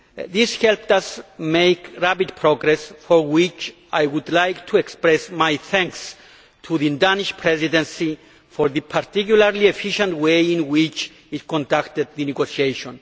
This helped us make rapid progress, for which I would like to express my thanks to the Danish Presidency for the particularly efficient way in which it conducted the negotiation.